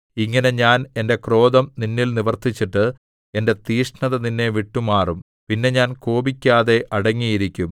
ഇങ്ങനെ ഞാൻ എന്റെ ക്രോധം നിന്നിൽ നിവർത്തിച്ചിട്ട് എന്റെ തീക്ഷ്ണത നിന്നെ വിട്ടുമാറും പിന്നെ ഞാൻ കോപിക്കാതെ അടങ്ങിയിരിക്കും